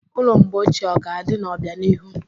Ụlọ mgbe ochie ọ ga-adị n'obianihu?